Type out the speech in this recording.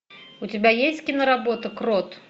у тебя есть киноработа крот